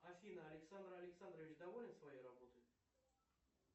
афина александр александрович доволен своей работой